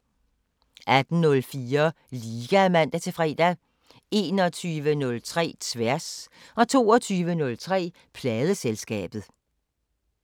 18:04: Liga (man-fre) 21:03: Tværs 22:03: Pladeselskabet